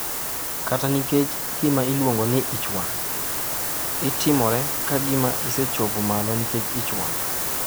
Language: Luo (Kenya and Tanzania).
"Kata nikech gima oluongo ni ich wang' ""itimore ka gima isechopo malo nikech ich wang'."""